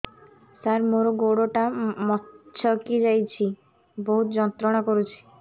ସାର ମୋର ଗୋଡ ଟା ମଛକି ଯାଇଛି ବହୁତ ଯନ୍ତ୍ରଣା କରୁଛି